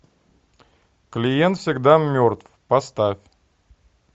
клиент всегда мертв поставь